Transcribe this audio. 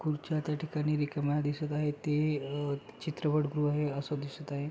खुर्च्या त्या ठिकाणी रिकाम्या दिसत आहेत ते अ चित्रपट गृह हे अस दिसत आहे.